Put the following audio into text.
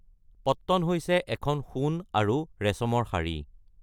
পট্টন হৈছে এখন সোণ আৰু ৰেচমৰ শাৰী।